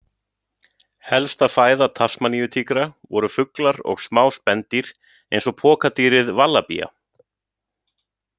Helsta fæða tasmaníutígra voru fuglar og smá spendýr eins og pokadýrið vallabía.